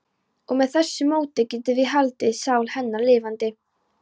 Og með þessu móti getum við haldið sál hennar lifandi.